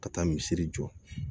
Ka taa misiri jɔ